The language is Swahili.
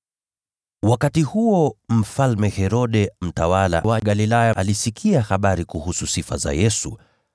Wakati huo, Mfalme Herode, mtawala wa Galilaya, alisikia habari za Yesu,